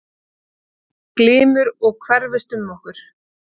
Glymur og hverfist um okkur.